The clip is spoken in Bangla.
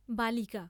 বালিকা।